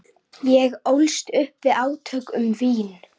Ég ólst upp við átök um vín.